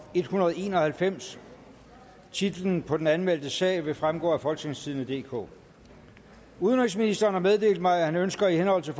en hundrede og en og halvfems titlen på den anmeldte sag vil fremgå af folketingstidende DK udenrigsministeren har meddelt mig at han ønsker i henhold til